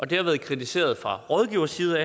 det har været kritiseret fra rådgiveres side